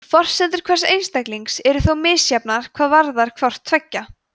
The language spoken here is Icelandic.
forsendur hvers einstaklings eru þó misjafnar hvað varðar hvort tveggja